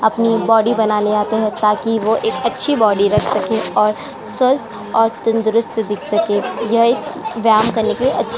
अपनी बॉडी बनाने आते हैं ताकि वो एक अच्छी बॉडी रख सके और स्वस्थ और तंदुरस्त दिख सके। यह एक व्यायाम करने की अच्छ --